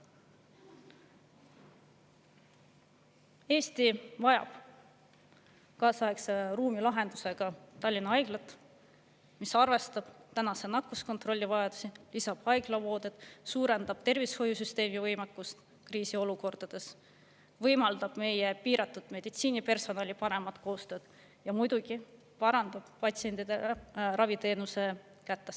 Eesti vajab kaasaegse ruumilahendusega Tallinna Haiglat, mis arvestab nakkuskontrolli vajadusi, haiglavoodeid, suurendab tervishoiusüsteemi võimekust kriisiolukordades, võimaldab meie piiratud meditsiinipersonali paremat koostööd ja muidugi parandab raviteenuse kättesaadavust patsientidele.